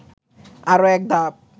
আরও একধাপ